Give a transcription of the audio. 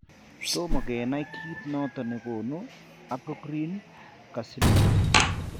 Toma kenai kit noton nekonu apocrine carcinoma ?